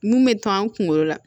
Mun bɛ to an kunkolo la